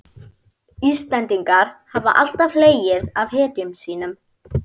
Íslendingar hafa alltaf hlegið að hetjum sínum.